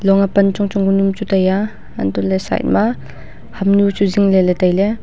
long a pan chong chong ke nu chu tai a antoh ley side hamnu chu zingle le tailey.